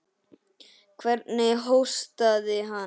Hvernig hóstaði hann.